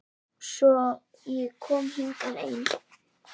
Svo ég kom hingað ein.